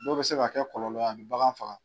Dɔw bɛ se ka kɛ kɔlɔlɔ ye a bɛ bagan faga.